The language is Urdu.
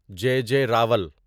جے جے راول